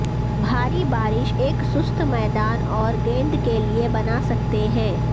بھاری بارش ایک سست میدان اور گیند کے لئے بنا سکتے ہیں